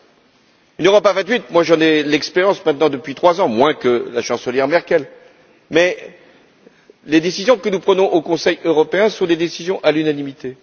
De cette Europe à vingt huit, j'en ai l'expérience maintenant depuis trois ans moins que la chancelière Merkel mais les décisions que nous prenons au Conseil européen sont des décisions à l'unanimité.